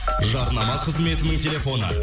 жарнама қызметінің телефоны